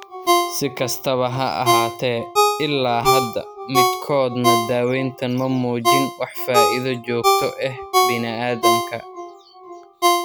Si kastaba ha ahaatee, ilaa hadda midkoodna daawayntan ma muujin wax faa'iido joogto ah bini'aadamka.